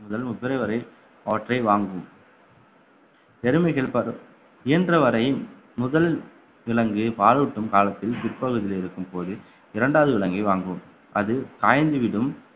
முதல் பிப்ரவரி வரை அவற்றை வாங்கும் எருமைகள் பதம்~ இயன்றவரை முதல் விலங்கு பாலூட்டும் காலத்தில் பிற்பகுதியில் இருக்கும்போது இரண்டாவது விலங்கை வாங்குவோம் அது காய்ந்து விடும்